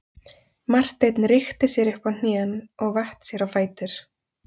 Marteinn rykkti sér upp á hnén og vatt sér á fætur.